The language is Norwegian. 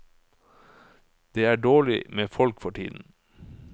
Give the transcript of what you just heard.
Det er dårlig med folk for tiden.